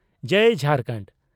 ᱡᱟᱹᱭ Jharkhand.